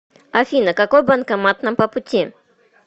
афина какой банкомат нам по пути